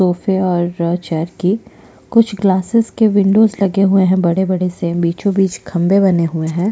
और चेयर की कुछ ग्लासेस के बिंडो लगे हुए है बड़े - बड़े से बीचो बिच खम्भे बने हुए है।